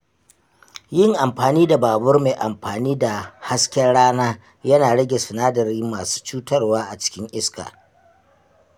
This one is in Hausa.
Yin amfani da babur mai amfani da hasken rana yana rage sinadarai masu cutarwa a cikin iska